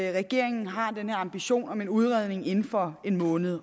regeringen har den her ambition om en udredning inden for en måned